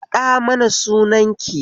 Faɗa mana sunan ki